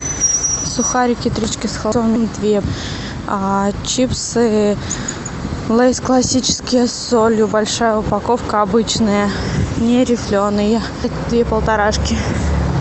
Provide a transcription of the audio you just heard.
сухарики три корочки две а чипсы лейс классические с солью большая упаковка обычные не рифленые две полторашки